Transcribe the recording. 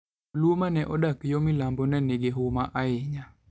Jo-Luo ma ne odak yo milambo ne nigi huma ahinya.